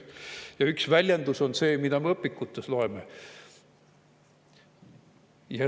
Ja üks väljendus on see, mida me õpikutest loeme.